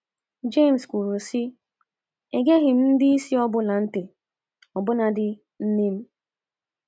James kwuru, sị: “ Egeghị m ndị isi ọ bụla ntị, ọbụnadị nne m.